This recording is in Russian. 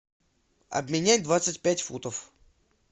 обменять двадцать пять фунтов